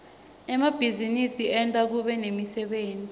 emabhizinisi enta kube nemsebenti